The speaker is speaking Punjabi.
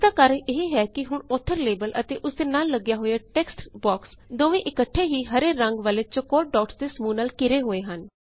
ਇਸਦਾ ਕਾਰਣ ਇਹ ਹੈ ਕਿ ਹੁਣ ਔਥਰ ਲੇਬਲ ਅਤੇ ਉਸਦੇ ਨਾਲ ਲੱਗਿਆ ਹੋਇਆ ਟੇਕਸਟ ਬੌਕਸ ਦੋਵੇ ਇਕੱਠੇ ਹੀ ਹਰੇ ਰੰਗ ਵਾਲੇ ਚੌਕੌਰ ਡੌਟਸ ਦੇ ਸਮੂਹ ਨਾਲ ਘਿਰੇ ਹੋਏ ਹਨ